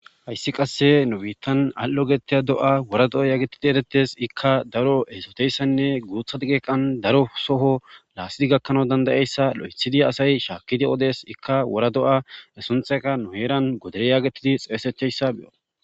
hayssi qasse nu biittan al7o geteya do7a wora do7a yaagetidi eretes ikka daro eesoteyssanne guutha geeqan daro soho laasidi gakkanau dandayeyssa lo7ethidi asay shaakkidi odes ikka wora do7a e sunxeka nu heeran godere yaagetidi xeesecheyssa beyo